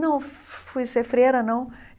Não fui ser freira, não.